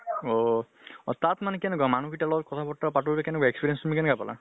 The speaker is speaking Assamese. অহ। অ তাত মানে কেনেকুৱা মানুহ গিতাৰ লগত কথা বতৰা পাতোতে কেনেকুৱা experience তুমি কেনেকুৱা পালা?